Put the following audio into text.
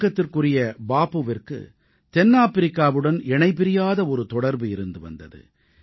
வணக்கத்துக்குரிய பாபுவிற்கு தென்னாப்பிரிக்காவுடன் இணைபிரியாத ஒரு தொடர்பு இருந்து வந்தது